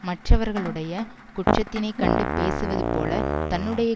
மற்றவர்களுடைய குற்றத்தினை கண்டு பேசுவது போல தன்னுடைய